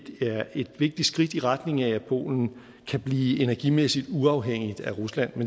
er et vigtigt skridt i retning af at polen kan blive energimæssigt uafhængig af rusland